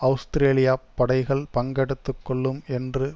அவுஸ்திரேலியப் படைகள் பங்கெடுத்துக்கொள்ளும் என்று